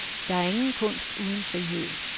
Der er ingen kunst uden frihed.